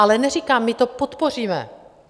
Ale neříkám, my to podpoříme.